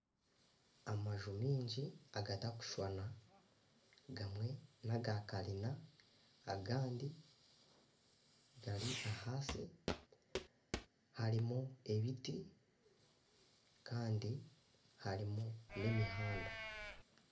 Amaju mingi agatari kushushana gamwe nagakanyina, agandi gari ahansi harimu ebiti kandi harimu n'emihanda